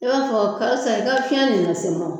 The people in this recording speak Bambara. E b'a fɔ karisa e ka fiɲɛ nin nase n ma o